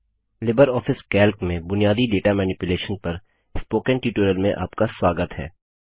LibreOffice Calc में बुनियादी data manipulation पर स्पोकन ट्यूटोरियल में आपका स्वागत है